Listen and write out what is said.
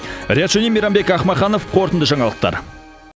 риат шони мейрамбек ахмаханов қорытынды жаңалықтар